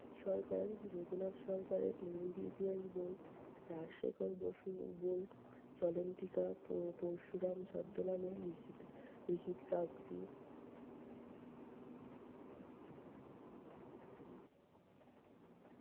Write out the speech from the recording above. সরকার যদুনাথ সরকারের ইংরেজি ইতিহাস বই, রাজশেখর বসুর book চলন্তিকা পোপরশুরাম ছদ্মনামে লিখিত লিখিত্ কাগজি